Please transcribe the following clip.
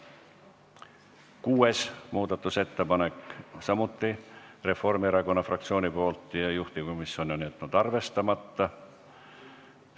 Kuues muudatusettepanek on samuti Reformierakonna fraktsioonilt ja juhtivkomisjon on jätnud arvestamata.